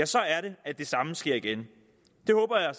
så er det at det samme sker igen det håber jeg